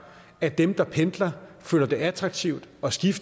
at dem der pendler føler det attraktivt at skifte